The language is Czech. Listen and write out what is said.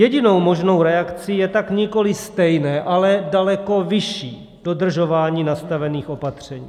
Jedinou možnou reakcí je tak nikoliv stejné, ale daleko vyšší dodržování nastavených opatření.